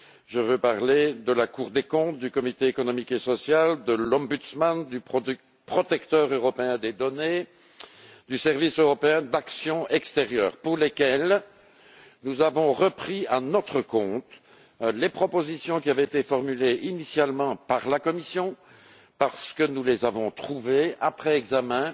Je veux parler de la Cour des comptes, du Comité économique et social, du Médiateur, du Contrôleur européen de la protection des données et du Service européen pour l'action extérieure, pour lesquels nous avons repris, à notre compte, les propositions qui avaient été formulées initialement par la Commission, parce que nous les avons trouvées, après examen,